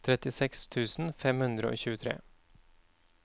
trettiseks tusen fem hundre og tjuetre